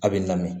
A bɛ lamɛn